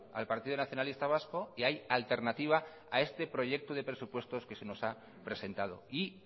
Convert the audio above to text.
al partido nacionalista vasco y hay alternativa a este proyecto de presupuestos que se nos ha presentado y